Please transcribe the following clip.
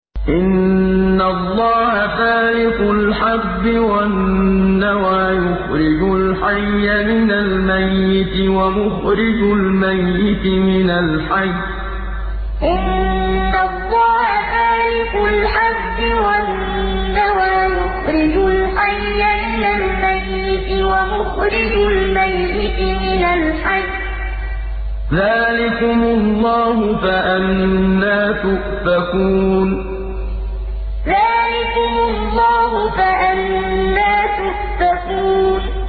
۞ إِنَّ اللَّهَ فَالِقُ الْحَبِّ وَالنَّوَىٰ ۖ يُخْرِجُ الْحَيَّ مِنَ الْمَيِّتِ وَمُخْرِجُ الْمَيِّتِ مِنَ الْحَيِّ ۚ ذَٰلِكُمُ اللَّهُ ۖ فَأَنَّىٰ تُؤْفَكُونَ ۞ إِنَّ اللَّهَ فَالِقُ الْحَبِّ وَالنَّوَىٰ ۖ يُخْرِجُ الْحَيَّ مِنَ الْمَيِّتِ وَمُخْرِجُ الْمَيِّتِ مِنَ الْحَيِّ ۚ ذَٰلِكُمُ اللَّهُ ۖ فَأَنَّىٰ تُؤْفَكُونَ